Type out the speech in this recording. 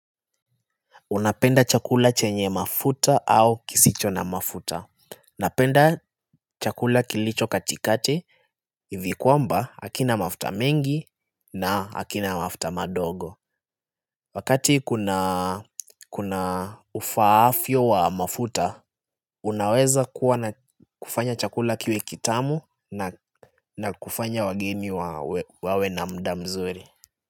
Unapenda chakula chenye mafuta au kisicho na mafuta Napenda chakula kilicho katikati. Ivi kwamba hakina mafuta mengi na hakina mafuta madogo Wakati kuna ufaavyo wa mafuta Unaweza kufanya chakula kiwe kitamu na kufanya wageni wawe na muda mzuri.